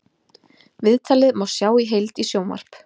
Viðtalið má sjá í heild í sjónvarp